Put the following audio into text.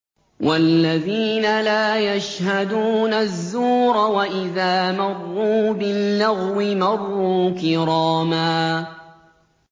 وَالَّذِينَ لَا يَشْهَدُونَ الزُّورَ وَإِذَا مَرُّوا بِاللَّغْوِ مَرُّوا كِرَامًا